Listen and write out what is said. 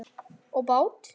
Og bát?